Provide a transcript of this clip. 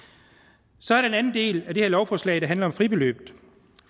så er der den anden del af det her lovforslag der handler om fribeløb